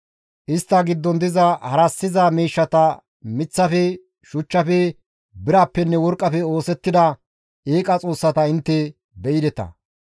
Istta giddon diza harassiza miishshata miththafe, shuchchafe, birappenne worqqafe oosettida eeqa xoossata intte be7ideta.